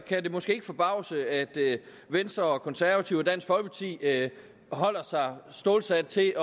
kan det måske ikke forbavse at venstre og konservative og dansk folkeparti holder sig stålsat til